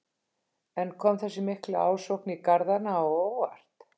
En kom þessi mikla ásókn í garðana á óvart?